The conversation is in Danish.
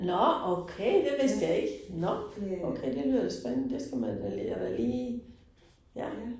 Nåh okay, det vidste jeg ikke. Nåh, okay, det lyder da spændende, det skal man jeg da lige. Ja